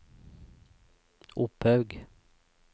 Opphaug